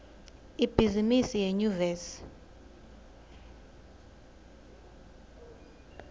ibhizimisi yenyuvesi